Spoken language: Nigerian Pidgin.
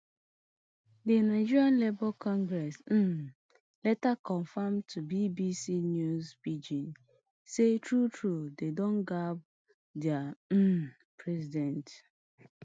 di nigeria labour congress um later confam to bbc news pidgin say truetrue dem don gbab dia um president